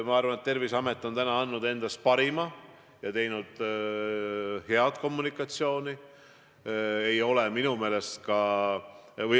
Ma arvan, et Terviseamet on täna andnud endast parima ja näidanud head kommunikatsiooni.